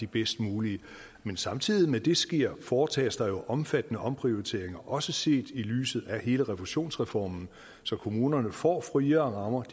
bedst mulige men samtidig med at det sker foretages der jo omfattende omprioriteringer også set i lyset af hele refusionsreformen så kommunerne får friere rammer